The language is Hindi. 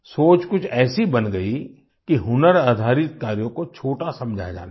सोच कुछ ऐसी बन गई कि हुनर आधारित कार्यों को छोटा समझा जाने लगा